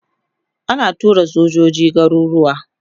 ana tura sojoji garuruwa